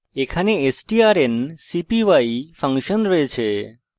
এখানে strncpy function রয়েছে